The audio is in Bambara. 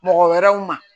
Mɔgɔ wɛrɛw ma